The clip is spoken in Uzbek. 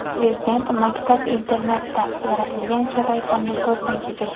Prezident maktab-internatda yaratilgan sharoitlarni ko‘zdan kechirdi.